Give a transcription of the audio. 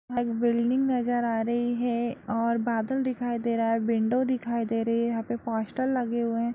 एक बिल्डिंग नजर आ रही है और बादल दिखाई दे रहा है विंडों दिखाई दे रही है यहाँ पे पोस्टर लगे हुए है।